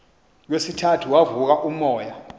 kwesithathu wavuka umoya